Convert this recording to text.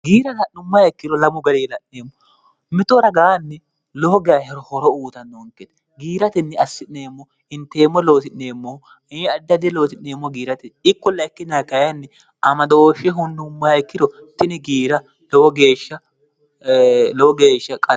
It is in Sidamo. giira ala'nummayekkiro lamu ga'reila'neemmo mitoo ragaanni loo gahiro horo uutannoonkeene giiratinni assi'neemmo inteemmo looti'neemmohu addade looti'neemmo giirate ikkulla ikkinnikayanni amadoofshe hunnummayekkiro tini giiralowo geeshsha